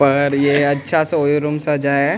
और ये अच्छा सा ओयो रूम सजा है।